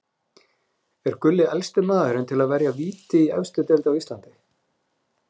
Er Gulli elsti maðurinn til að verja víti í efstu deild á Íslandi?